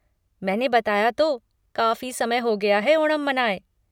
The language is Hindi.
मैंने बताया तो, काफ़ी समय हो गया है ओणम मनाए।